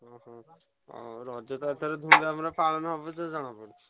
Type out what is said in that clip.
ଓହୋ, ହଉ ରଜତ ଏଥର ଧୂମଧାମରେ ପାଳନ ହବ ଯାହା ଜଣା ପଡୁଛି।